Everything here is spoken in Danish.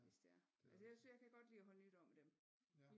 Hvis det er altså jeg kan godt lide at holde nytår med dem